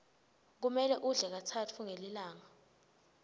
kumele udle katsatfu ngelilanga